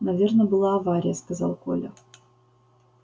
наверно была авария сказал коля